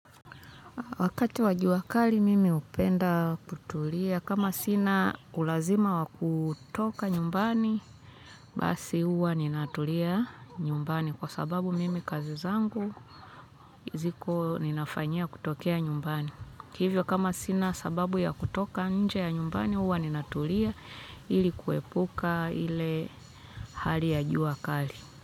Wakati wa jua kali mimi hupenda kutulia. Kama sina ulazima wa kutoka nyumbani, basi huwa ninatulia nyumbani. Kwa sababu mimi kazi zangu, ziko ninafanyia kutokea nyumbani. Hivyo kama sina sababu ya kutoka nje ya nyumbani, huwa ninatulia ili kuepuka ile hali ya jua kali.